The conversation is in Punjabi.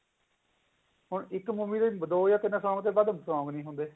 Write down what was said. ਹੁਣ ਇੱਕ movie ਦੋ ਤਿੰਨ ਤੋਂ ਵੱਧ song ਨੀ ਹੁੰਦੇ